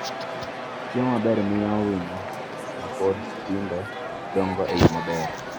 Chiemo maber miyo winyo ma pod tindo dongo e yo maber.